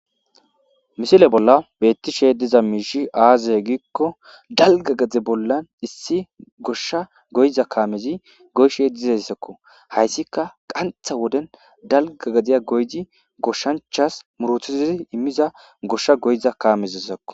Misile bollan betishe diza misshy aaze gikon dalga gade bolla issi gosha goyiza kaamezi goyishe dezaysako ,haysika qantha Woden dalga gadiya goyid goshanchas murtisidi immiza gosha goyiza kamelazako